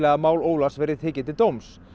að mál Ólafs verði tekið til dóms